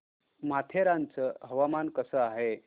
माथेरान चं हवामान कसं आहे